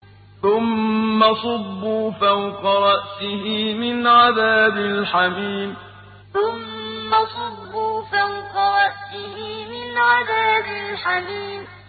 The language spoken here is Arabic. ثُمَّ صُبُّوا فَوْقَ رَأْسِهِ مِنْ عَذَابِ الْحَمِيمِ ثُمَّ صُبُّوا فَوْقَ رَأْسِهِ مِنْ عَذَابِ الْحَمِيمِ